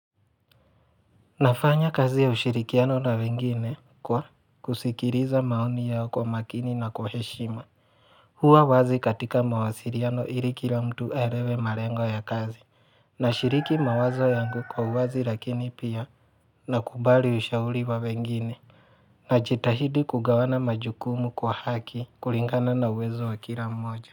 Nafanya kazi ya ushirikiano na wengine kwa kusikiriza maoni yao kwa makini na kwa heshima. Huwa wazi katika mawasiriano ili kila mtu aelewe marengo ya kazi. Nashiriki mawazo yangu kwa uwazi lakini pia nakubali ushauri wa wengine. Najitahidi kugawana majukumu kwa haki, kulingana na uwezo wa kila mmoja.